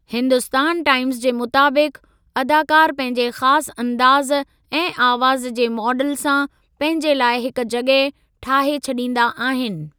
हिन्दुस्तान टाइमज़ जे मुताबिक़ि 'अदाकार पंहिंजे ख़ासि अंदाज़ ऐं आवाज़ जे माडल सां पंहिंजे लाइ हिक जॻह ठाहे छॾींदा आहिनि।